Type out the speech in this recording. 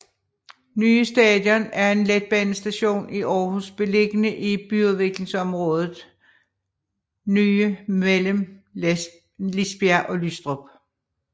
Nye Station er en letbanestation i Aarhus beliggende i byudviklingsområdet Nye mellem Lisbjerg og Lystrup